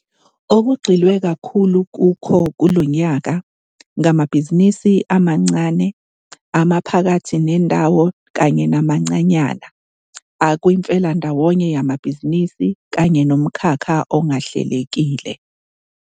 Okugxilwe kakhulu kukho kulo nyaka ngamabhizinisi amancane, amaphakathi nendawo kanye namancanyana, akwimifelandawonye yamabhizinisi kanye nomkhakha ongahlelekile.